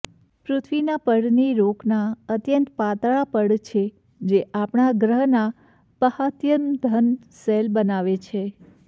પૃથ્વીના પડને રોકના અત્યંત પાતળા પડ છે જે આપણા ગ્રહના બાહ્યતમ ઘન શેલ બનાવે છે